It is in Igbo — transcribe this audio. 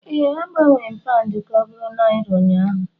Ee, agbanwere m Paụndụ ka ọ bụrụ Naira ụnyaahụ